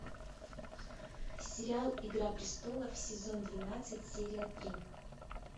сериал игра престолов сезон двенадцать серия три